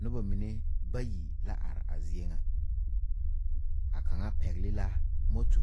Noba mine bayi la are a zie ŋa a kaŋa pɛgle la moto